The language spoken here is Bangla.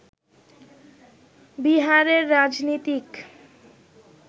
বিহারের রাজনীতিক